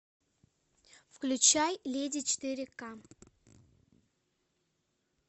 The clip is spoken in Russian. включай леди четыре к